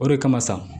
O de kama sa